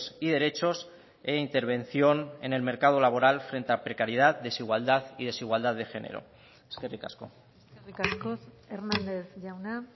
y derechos e intervención en el mercado laboral frente a precariedad desigualdad y desigualdad de género eskerrik asko eskerrik asko hernández jauna